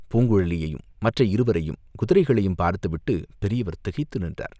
பூங்குழலியையும், மற்ற இருவரையும், குதிரைகளையும் பார்த்துவிட்டுப் பெரியவர் திகைத்து நின்றார்.